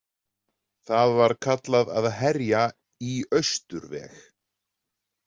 Það var kallað að herja „í austurveg“.